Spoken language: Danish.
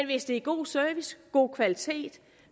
hvis der er god service god kvalitet